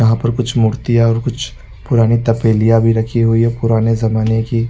यहाँ पर कुछ मूर्तियां और कुछ पुरानी तपेलिया भी रखी हुई है पुराने जमाने की--